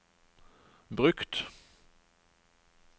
brukt